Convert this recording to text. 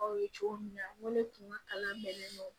Aw ye cogo min na n ko ne tun ka kalan bɛnnen don